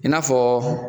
I n'a fɔ